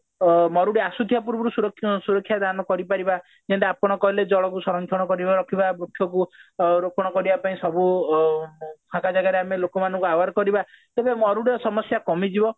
ଅ ମରୁଡି ଆସୁଥିବା ପୂର୍ବରୁ ସୁରକ୍ଷା ସୁରକ୍ଷା ଦାନ କରିପାରିବା ଯେମତି ଆପଣ କହିଲେ ଜଳକୁ ସରଂକ୍ଷଣ କରିବା ରଖିବା ବୃକ୍ଷକୁ ସରଂକ୍ଷଣ କରିବା ପାଇଁ ସବୁ ଲୋକ ମାନଙ୍କୁ ଆମେ aware କରିବା ତେବେ ମରୁଡ଼ିର ସମସ୍ଯା କମିଯିବ